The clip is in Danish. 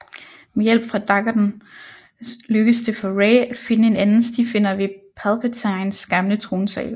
Med hjælp fra daggerten lykkes det for Rey at finde en anden stifinder ved Palpatines gamle tronsal